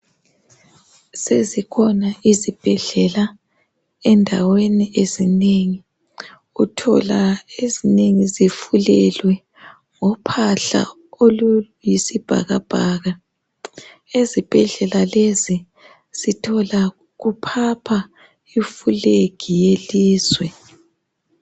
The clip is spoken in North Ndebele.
Sezikhona izibhedlela endaweni ezinengi uthola ezinengi zifulelwe ngophahla oluyisibhakabhaka ezibhedlela lezi sithola amaflag awaleli lizwe ephapha emoyeni